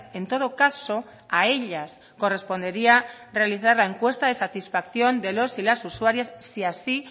en todo caso a ellas correspondería realizar la encuesta de satisfacción de los y las usuarias si así